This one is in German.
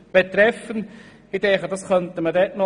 » Ich denke, diese Variante könnte eingefügt werden.